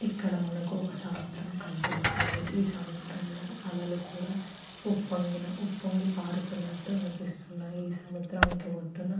ఇక్కడ మనకు ఒక సముద్రం కనబడుతుంది ఈ సముద్రంలో అలలు కూడా ఉప్పొంగిన ఉప్పొంగి పారుతునట్టు అనిపిస్తున్నాయి ఈ సముద్రానికి ఒడ్డున --